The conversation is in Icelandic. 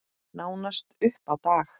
Nánast upp á dag.